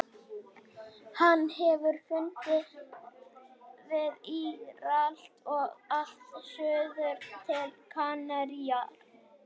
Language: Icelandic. Hann hefur fundist við Írland og allt suður til Kanaríeyja.